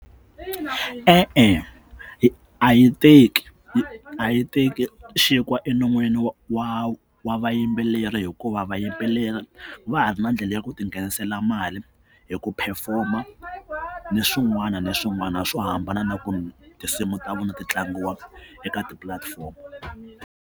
E-e, a yi teki a yi teki xinkwa enon'wini wa wa wa vayimbeleri hikuva va yimbeleri va ha ri ndlela ya ku ti nghenisela mali hi ku perform-a ni swin'wana na swin'wana swo hambana na ku tinsimu ta vona ti tlangiwa eka tipulatifomo.